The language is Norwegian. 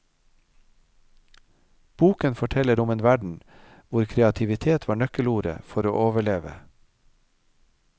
Boken forteller om en verden hvor kreativitet var nøkkelordet for å overleve.